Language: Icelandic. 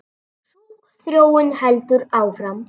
Sú þróun heldur áfram.